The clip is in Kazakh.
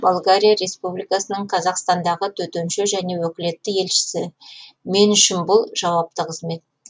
болгария республикасының қазақстандағы төтенше және өкілетті елшісі мен үшін бұл жауапты қызмет